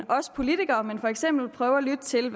selv